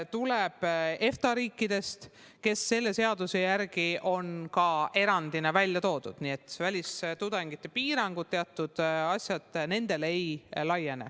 Tuleb ka EFTA riikidest, kes selle seaduse järgi on erandina välja toodud, nii et välistudengite piirangud, teatud asjad, nendele ei laiene.